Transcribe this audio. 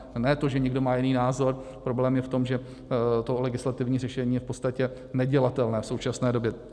Ne to, že někdo má jiný názor, problém je v tom, že to legislativní řešení je v podstatě nedělatelné v současné době.